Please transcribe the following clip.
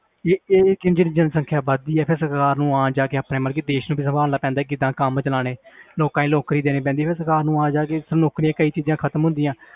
ਇਹ ਜਿਹੜੀ ਜਿਹੜੀ ਜਨਸੰਖਿਆ ਵੱਧਦੀ ਹੈ ਫਿਰ ਸਰਕਾਰ ਨੂੰ ਆ ਜਾ ਕੇ ਆਪਣੇ ਮਤਲਬ ਕਿ ਦੇਸ ਨੂੰ ਵੀ ਸੰਭਾਲਣਾ ਪੈਂਦਾ ਹੈ ਕਿੱਦਾਂ ਕੰਮ ਚਲਾਉਣੇ ਲੋਕਾਂ ਨੂੰ ਨੌਕਰੀ ਦੇਣੀ ਪੈਂਦੀ ਫਿਰ ਸਰਕਾਰ ਨੂੰ ਆ ਜਾ ਕੇ ਨੌਕਰੀਆਂ ਕਈ ਚੀਜ਼ਾਂ ਖ਼ਤਮ ਹੁੰਦੀਆਂ